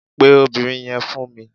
Pè obìnrin yẹn fún mi